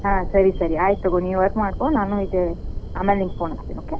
ಹಾ ಸರಿ ಸರಿ ಆಯಿತಗೋ ನೀ work ಮಾಡ್ಕೋ ನಾನು ಇದ್ ಆಮೇಲೆ ನಿಂಗ್ phone ಮಾಡ್ತೇನಿ okay .